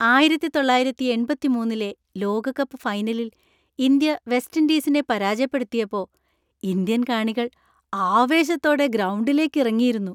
ആയിരത്തി തൊള്ളായിരത്തി എൺപത്തിമൂന്നിലെ ലോകകപ്പ് ഫൈനലിൽ ഇന്ത്യ വെസ്റ്റ് ഇൻഡീസിനെ പരാജയപ്പെടുത്തിയപ്പോ ഇന്ത്യൻ കാണികൾ ആവേശത്തോടെ ഗ്രൗണ്ടിലേക്ക് ഇറങ്ങിയിരുന്നു.